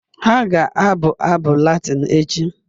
Ha ga-abụ abụ Latịn echi